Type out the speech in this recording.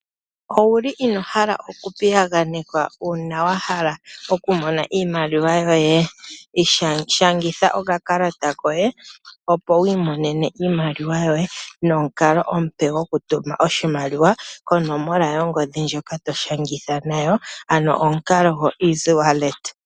Owuli inoohala oku piyaganekwa uuna wahala oku mona iimaliwa yoye? Shangitha okakalata koye opo wiimonene iimaliwa yoye nomukalo omupe oku tuma oshimaliwa konomola yongodhi ndjoka to shangitha nawo ano omukalo go Easy wallet.